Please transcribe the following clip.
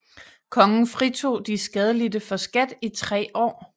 Kongen fritog de skadelidte for skat i 3 år